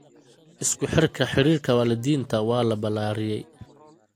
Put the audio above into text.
Isku xirka xiriirka waalidiinta waa la ballaariyay.